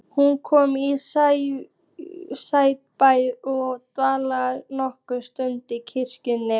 Hún kom í Saurbæ og dvaldi nokkra stund í kirkjunni.